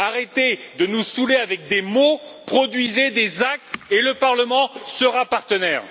Arrêtez de nous saouler avec des mots et produisez plutôt des actes et le Parlement sera partenaire.